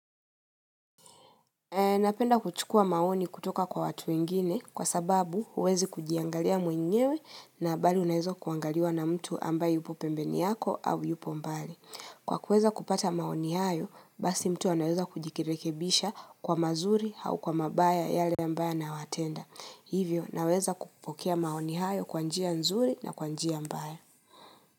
Napenda kuchukua maoni kutoka kwa watu ingine kwa sababu uwezi kujiangalia mwenyewe na bali unaweza kuangaliwa na mtu ambaye yupo pembeni yako au upo mbali. Kwa kuweza kupata maoni hayo, basi mtu unaweza kujikirekebisha kwa mazuri hau kwa mabaya yale ambaya na yanawatenda. Hivyo naweza kupokea maoni hayo kwanjia nzuri na kwanjia ambaya.